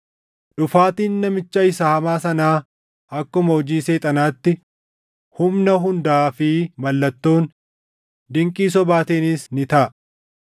Dhufaatiin namicha isa hamaa sanaa akkuma hojii Seexanaatti humna hundaa fi mallattoon, dinqii sobaatiinis ni taʼa;